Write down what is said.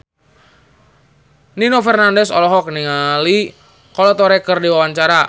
Nino Fernandez olohok ningali Kolo Taure keur diwawancara